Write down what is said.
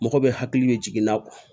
Mɔgɔ bɛ hakili bɛ jigin n'a kɔ